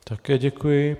Také děkuji.